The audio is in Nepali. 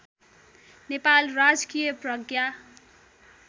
नेपाल राजकीय प्रज्ञा